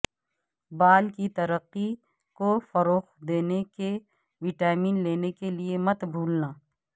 بال کی ترقی کو فروغ دینے کہ وٹامن لینے کے لئے مت بھولنا